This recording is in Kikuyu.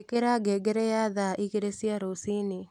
ĩkira ngengere ya thaa igĩri cia rũciinĩ